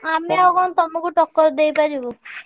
ଆମେ ଆଉ କଣ ତମୁକୁ ଟକ୍କର ଦେଇପାରିବୁ।